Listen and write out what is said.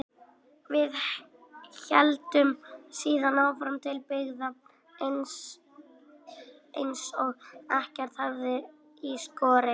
Við héldum síðan áfram til byggða eins og ekkert hefði í skorist.